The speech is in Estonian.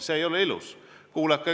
See ei ole ilus!